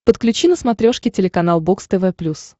подключи на смотрешке телеканал бокс тв плюс